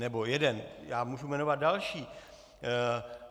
Nebo jeden - já můžu jmenovat další.